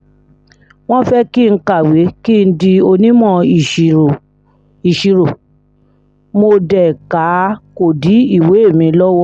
wọ́n fẹ́ kí n kàwé kí n di onímọ̀ ìṣirò mo dé ká a kó dí ìwé mi lọ́wọ́